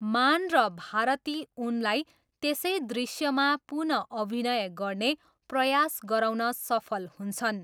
मान र भारती उनलाई त्यसै दृश्यमा पुनः अभिनय गर्ने प्रयास गराउन सफल हुन्छन्।